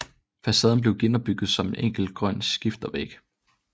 Facaden blev genopbygget som en enkel grøn skifervæg